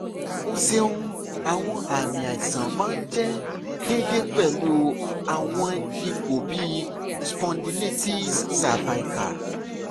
o ṣeun awọn aami aisan naa jẹ deede pẹlu awọn ipo bii spondylitis cervical